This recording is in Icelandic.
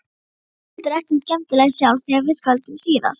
Ég var heldur ekkert skemmtileg sjálf þegar við skildum síðast.